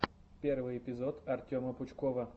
первый эпизод артема пучкова